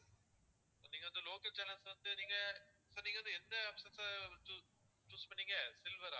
okay ங்களா sir local channels ல வந்து நீங்க sir நீங்க வந்து எந்த option sir choo~choose பண்ணிங்க silver ஆ